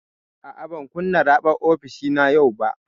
A'a, ban kunna raɓar ofishina yau ba.